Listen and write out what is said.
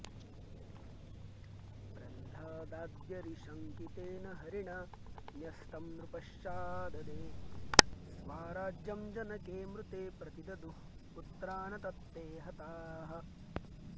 प्रह्लादाद्यरिशङ्कितेन हरिणा न्यस्तं नृपश्चाऽददे स्वाराज्यं जनके मृते प्रतिददुः पुत्रा न तत्ते हताः